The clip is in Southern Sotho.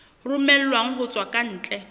romellwang ho tswa ka ntle